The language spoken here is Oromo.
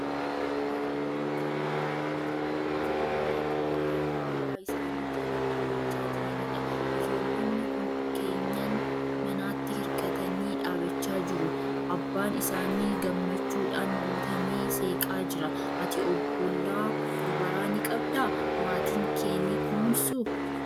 Daa'imman kennaa rabbiiti. Ijoollota dubaraa abbaa isaanii jala dhaabbachaa jiranidha. Ijoollonni kun keenyan manaatti hirkatanii dhaabachaa jiru. Abbaan isaanii gammachuudhaan guutamee seeqaa jira. Ati obbolaa dubaraa ni qabdaa? Maatiin kee ni kunuunsuu?